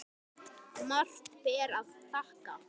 Margt ber að þakka.